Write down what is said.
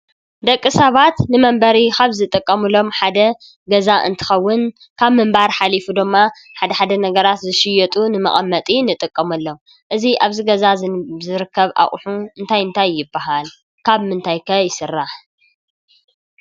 ደቂ ሰባት ንመንበሪ ካብ ዝጥቀሙሎም ሓደ ገዛ እንትኸውን ካብ ምንባር ሓሊፉ ድማ ሓደ ሓደ ነገራት ዝሽየጡ ንመቐመጢ ንጥቀመሎም፡፡ እዚ ኣብዚ ገዛ ዝርከብ ኣቑሑ እንታይ እንታይ ይበሃል? ካብ ምንታይ ከ ይስራሕ?